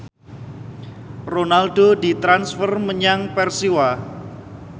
Ronaldo ditransfer menyang Persiwa